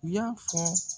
U y'a fɔ